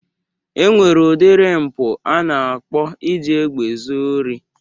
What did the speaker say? E nwere udiri mpụ a na-akpọ iji egbe zuo ori